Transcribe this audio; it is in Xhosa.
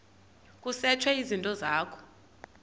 kusetshwe izinto zakho